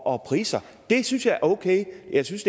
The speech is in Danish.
og priser synes jeg er okay jeg synes